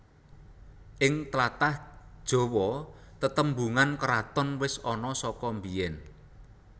Ing tlatah Jawa tatembungan kraton wis ana saka biyen